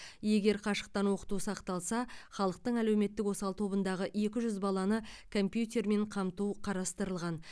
егер қашықтан оқыту сақталса халықтың әлеуметтік осал тобындағы екі жүз баланы компьютермен қамту қарастырылған